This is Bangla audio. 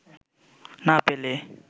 না পেলে